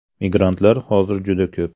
Migrantlar hozir juda ko‘p.